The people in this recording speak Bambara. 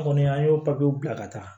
An kɔni an y'o papiyew bila ka taa